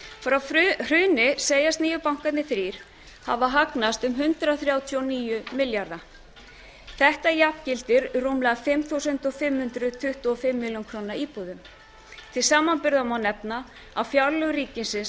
innborganirnar frá hruni segjast nýju bankarnir þrír hafa hagnast um hundrað þrjátíu og níu milljarða þetta jafngildir rúmlega fimm þúsund fimm hundruð tuttugu og fimm milljónir króna íbúðum til samanburðar má nefna að fjárlög ríkisins